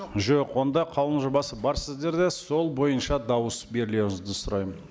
жоқ онда қаулының жобасы бар сіздерде сол бойынша дауыс берулеріңізді сұраймын